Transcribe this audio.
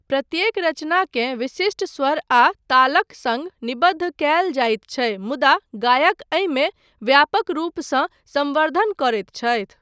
प्रत्येक रचनाकेँ विशिष्ट स्वर आ तालक सङ्ग निबद्ध कयल जाइत छै मुदा गायक एहिमे व्यापक रूपसँ संवर्द्धन करैत छथि।